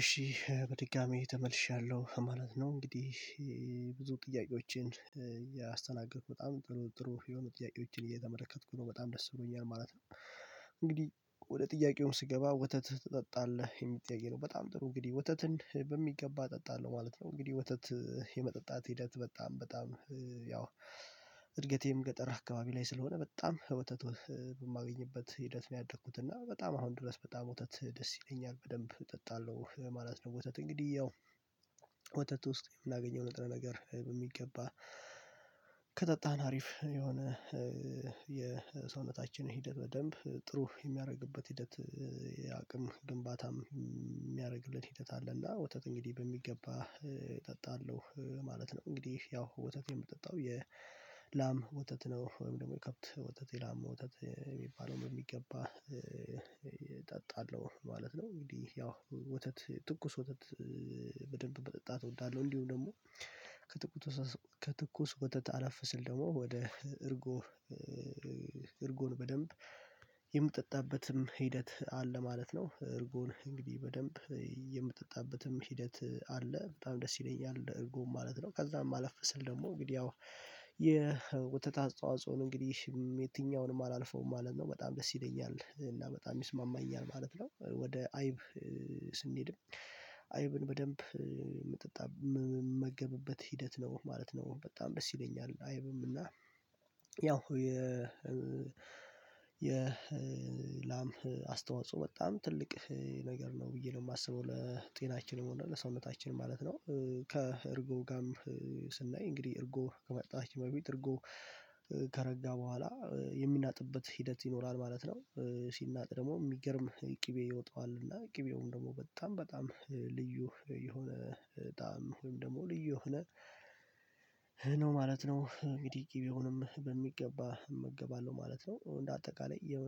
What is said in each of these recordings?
እሺ በድጋሚ ተመልሻለሁ ማለት ነው እንግዲህ ብዙ ጥያቄዎችን እያስተናገድኩ በጣም ጥሩ ጥሩ የሆኑ ጥያቄዎችን እየተመለከትኩ ነው በጣም ደስ ይሉኛል ማለት ነው። እንግዲህ ወደ ጥያቄውም ስገባ ወተት ትጠጣለህ የሚል ጥያቄ ነው? በጣም ጥሩ እንግዲህ ወተትን በሚገባ እጠጣለሁ ማለት ነው እንግዲህ ወተት የመጠጣት ሂደት በጣም በጣም ያው እድገቴም ገጠር አካባቢ ላይ ስለሆነ በጣም ወተት ወ በማገኝበት ሂደት ነው ያደግኩት እና በጣም አሁን ድረስ በጣም ወተት ደስ ይለኛል በደንብ እጠጣለሁ ማለት ነው። ወተት እንግዲህ ያው ወተት ውስጥ የምናገኘው ነጥረ ነገር በሚገባ ከጠጣን አሪፍ የሆነ የሰውነታችን ሂደት በደንብ ጥሩ የሚያረግበት ሂደት የአቅም ግንባታም ሚያረግልን ሂደት አለ። እና ወተት እንግዲህ በሚገባ እጠጣለሁ ማለት ነው። እንግዲህ ያው ወተት የምጠጣው የላም ወተት ነው ወይም ደግሞ የከብት ወተት የላም ወተት የሚባለውን በሚገባ እጠጣለሁ ማለት ነው። እንግዲህ ያው ወተት ትኩስ ወተት በደንብ መጠጣት እወዳለሁ እንዲሁም ደግሞ ከትኩት ወተት ከትኩስ ወተት አለፍ ስል ደግሞ ወደ እርጎ እርጎን በደንብ የምጠጣበትም ሂደት አለ ማለት ነው። እርጎን እንግዲህ በደንብ የምጠጣበትም ሂደት አለ በጣም ደስ ይለኛል እርጎም ማለት ነው። ከዛም አለፍ ስል ደግሞ እንግዲህ ያው የወተት አስተዋጾን እንግዲህ የትኛውንም አላልፈውም ማለት ነው በጣም ደስ ይለኛል እና በጣም ይስማማኛል ማለት ነው። ወደ አይብ ስንሄድም አይብን በደንብ ምጠጣ ምመገብበት ሂደት ነው ማለት ነው በጣም ደስ ይለኛል አይብም እና ያው የ የ ላም አስተዋጽኦ በጣም ትልቅ ነገር ነው ብዬ ነው ማስበው ለጤናችንም ሆነ ለሰውነታችንም ማለት ነው። ከእርጎ ጋርም ስናይ እንግዲህ እርጎ ከመጠጣታችን በፊት እርጎ ከረጋ በኋላ የሚናጥበት ሂደት ይኖራል ማለት ነው ሲናጥ ደግሞ ሚገርም ቅቤ ይወጣዋል እና ቅቤውም ደግሞ በጣም በጣም ልዩ የሆነ ጣዕም ወይም ደግሞ ልዩ የሆነ ነው ማለት ነው። እንግዲህ ቂቤውንም በሚገባ እመገባለሁ ማለት ነው እንደ አጠቃላይ የ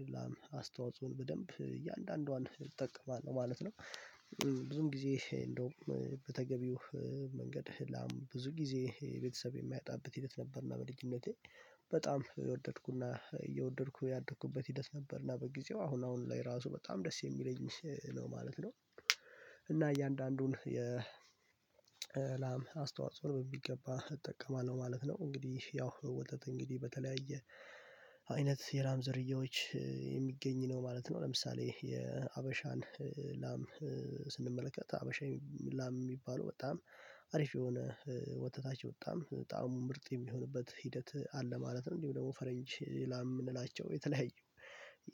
የላም አስተዋጽኦን በደንብ እያንዳንዷን እጠቀማለሁ ማለት ነው። ብዙም ጊዜ እንደውም በተገቢው መንገድ ህላም ብዙ ጊዜ ቤተሰብ የማያጣበት ሂደት ነበር እና በልጅነቴ በጣም የወደድኩ እና እየወደድኩ ያደኩበት ሂደት ነበር እና በጊዜው አሁን አሁን ላይ ራሱ በጣም ደስ የሚለኝ ነው ማለት ነው። እና እያንዳንዱን የ ላም አስተዋጽኦ በሚገባ እጠቀማለሁ ማለት ነው እንግዲህ ያው ወተት እንግዲህ በተለያየ አይነት የላም ዝርያዎች የሚገኝ ነው ማለት ነው። ለምሳሌ የሀበሻን ላም ስንመለከት ሀበሻዊ ላም ሚባለው በጣም አሪፍ የሆነ ወተታቸው በጣም ጣዕሙ ምርጥ የሚሆንበት ሂደት አለ ማለት ነው እንዲሁም ደግሞ ፈረንጅ ላም ምንላቸው የተለያዩ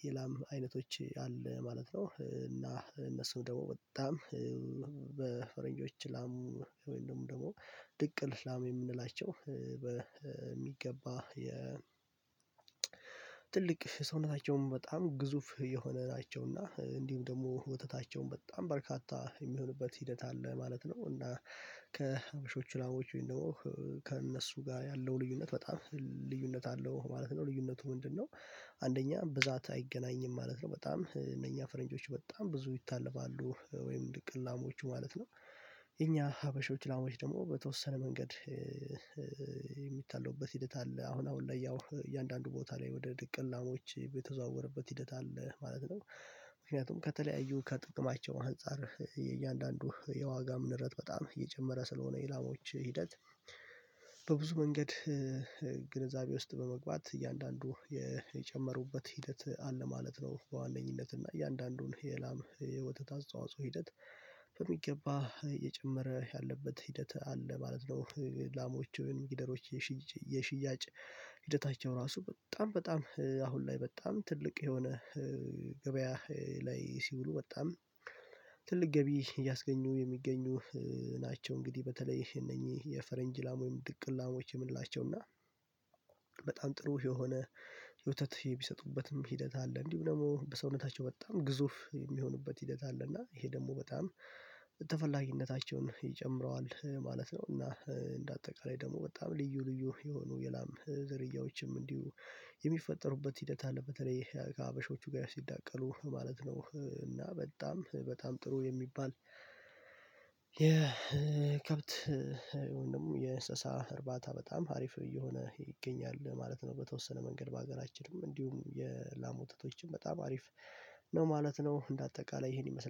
የላም አይነቶች አለ ማለት ነው። እና እነሱም ደግሞ በጣም በፈረንጆች ላም ወይም ደግሞ ደግሞ ድቅል ላም የምንላቸው በሚገባ የ ትልቅ ሰውነታቸውም በጣም ግዙፍ የሆነ ናቸው እና እንዲሁም ደግሞ ወተታቸውም በጣም በርካታ የሚሆንበት ሂደት አለ ማለት ነው። እና ከሀበሾች ላሞች ወይም ደግሞ ከእነሱ ጋር ያለው ልዩነት በጣም ልዩነት አለው ማለት ነው። ልዩነቱ ምንድነው? አንደኛ ብዛት አይገናኝም ማለት ነው በጣም እነኛ ፈረንጆች በጣም ብዙ ይታለባሉ ወይም ድቅል ላሞቹ ማለት ነው። የኛ ሀበሾች ላሞች ደግሞ በተወሰነ መንገድ የሚታለቡበት ሂደት አለ አሁን አሁን ላይ ያው እያንዳንዱ ቦታ ላይ ወደ ድቅል ላሞች በተዘዋወረበት ሂደት አለ ማለት ነው። ምክንያቱም ከተለያዩ ከጥቅማቸው አንፃር የእያንዳንዱ የዋጋም ንረት በጣም እየጨመረ ስለሆነ የላሞች ሂደት በብዙ መንገድ ግንዛቤ ውስጥ በመግባት እያንዳንዱ የ የጨመሩበት ሂደት አለ ማለት ነው። በዋነኝነት እና እያንዳንዱን የላም የወተት አስተዋጽኦ ሂደት በሚገባ እየጨመረ ያለበት ሂደት አለ ማለት ነው። ላሞቹን ጊደሮች የሽ የሽያጭ ሂደታቸው ራሱ በጣም በጣም አሁን ላይ በጣም ትልቅ የሆነ ገበያ ላይ ሲውሉ ወጣም ትልቅ ገቢ እያስገኙ የሚገኙ ናቸው። እንግዲህ በተለይ እነኚህ የፈረንጅ ላም ወይም ድቅል ላሞች የምንላቸው እና በጣም ጥሩ የሆነ የወተት የሚሰጡበትም ሂደት አለ እንዲሁም ደግሞ በሰውነታቸው በጣም ግዙፍ የሚሆኑበት ሂደት አለ እና ይሄ ደግሞ በጣም ተፈላጊነታቸውን ይጨምረዋል ማለት ነው። እና እንደ አጠቃላይ ደግሞ በጣም ልዩ ልዩ የሆኑ የላም ዝርያዎችም እንዲሁ የሚፈጠሩበት ሂደት አለ በተለይ ከሀበሾቹ ጋር ሲዳቀሉ ማለት ነው። እና በጣም በጣም ጥሩ የሚባል የከብት ወይም ደግሞ የእንሰሳ እርባታ በጣም ሀሪፍ እየሆነ ይገኛል ማለት ነው በተወሰነ መንገድ በሀገራችንም እንዲሁም የላም ወተቶችም በጣም አሪፍ ነው ማለት ነው። እንደ አጠቃላይ ይሄን ይመስላል